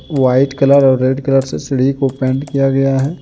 White colour और red colour से सीढ़ी को पेंट किया गया है।